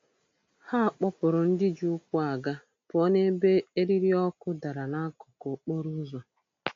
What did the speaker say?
Ha kpọpụrụ ndị ji ụkwụ aga pụọ n'ebe eriri ọkụ dara n'akụkụ okporoụzọ.